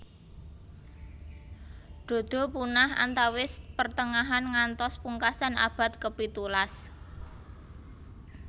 Dodo punah antawis pertengahan ngantos pungkasan abad ke pitulas